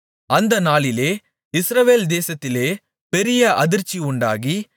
அந்த நாளிலே இஸ்ரவேல் தேசத்திலே பெரிய அதிர்ச்சி உண்டாகி